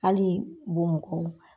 Hali bɔ mɔgɔw